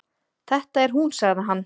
Þetta er hún sagði hann.